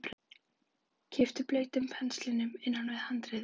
Kippti blautum penslinum inn fyrir handriðið.